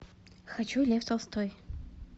хочу лев толстой